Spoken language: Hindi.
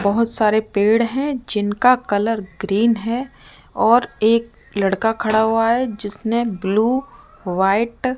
बहोत सारे पेड़ हैं जिनका कलर ग्रीन है और एक लड़का खड़ा हुआ है जिसने ब्लू व्हाइट --